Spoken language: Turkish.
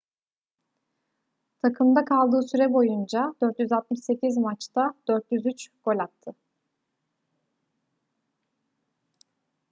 takımda kaldığı süre boyunca 468 maçta 403 gol attı